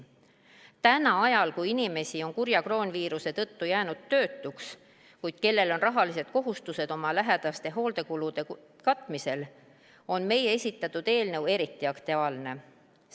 Täna, ajal, kui paljud inimesed on kurja kroonviiruse tõttu jäänud töötuks, kuid kellel on rahalised kohustused oma lähedaste hoolduskulude katmisel, on meie esitatud eelnõu eriti aktuaalne.